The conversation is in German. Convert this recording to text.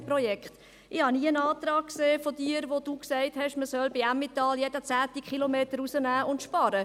Ich habe von Ihnen nie einen Antrag gesehen, in dem Sie gesagt haben, man solle beim Emmental jeden zehnten Kilometer rausnehmen und sparen.